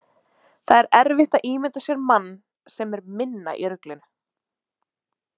Það er erfitt að ímynda sér mann sem er minna í ruglinu.